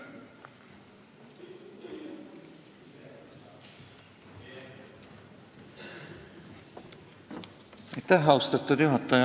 Austatud juhataja!